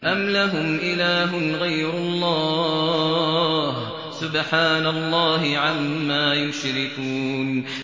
أَمْ لَهُمْ إِلَٰهٌ غَيْرُ اللَّهِ ۚ سُبْحَانَ اللَّهِ عَمَّا يُشْرِكُونَ